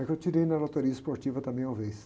É que eu tirei na loteria esportiva também, uma vez.